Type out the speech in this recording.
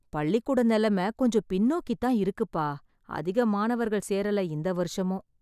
பள்ளிக்கூட நிலைமை கொஞ்சம் பின்னோக்கித் தான் இருக்குப்பா. அதிக மாணவர்கள் சேரல இந்த வருஷமும்.